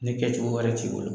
Ne kɛcogo wɛrɛ t'i bolo